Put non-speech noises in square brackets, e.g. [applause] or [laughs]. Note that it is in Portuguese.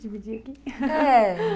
Dividir aqui. [laughs] Eh...